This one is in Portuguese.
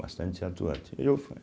Bastante atuante eu fu